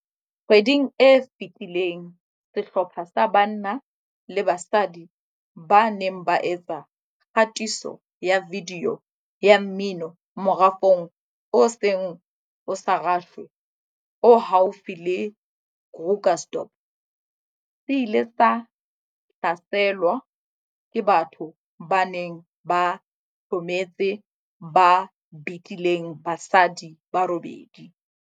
Kgweding e fetileng sehlopha sa banna le basadi ba neng ba etsa kgatiso ya vidiyo ya mmino morafong o seng o sa rashwe o haufi le Krugersdorp se ile sa hlaselwa ke batho ba neng ba hlometse ba betileng basadi ba robedi.